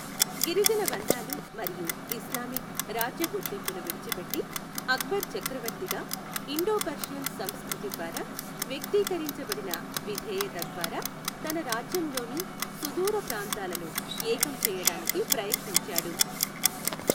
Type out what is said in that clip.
గిరిజన బంధాలు మరియు ఇస్లామిక్ రాజ్య గుర్తింపును విడిచిపెట్టి, అక్బర్ చక్రవర్తిగా ఇండో పర్షియన్ సంస్కృతి ద్వారా వ్యక్తీకరించబడిన విధేయత ద్వారా తన రాజ్యంలోని సుదూర ప్రాంతాలను ఏకం చేయడానికి ప్రయత్నించాడు.